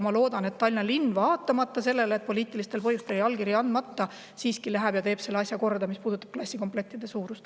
Ma loodan, et Tallinna linn, vaatamata sellele, et poliitilistel põhjustel jäi allkiri andmata, siiski läheb ja teeb selle asja korda, mis puudutab klassikomplektide suurust.